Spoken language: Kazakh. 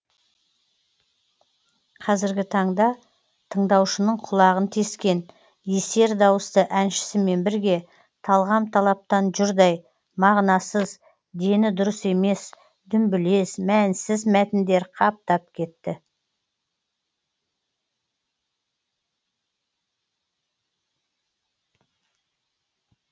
қазіргі таңда тыңдаушының құлағын тескен есер дауысты әншісімен бірге талғам талаптан жұрдай мағынасыз дені дұрыс емес дүмбілез мәнсіз мәтіндер қаптап кетті